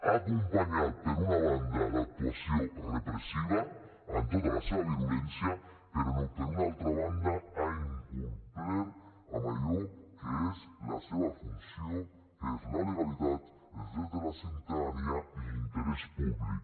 ha acompanyat per una banda l’actuació repressiva amb tota la seva virulència però per una altra banda ha incomplert amb allò que és la seva funció que és la legalitat els drets de la ciutadania i l’interès públic